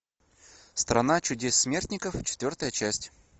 страна чудес смертников четвертая часть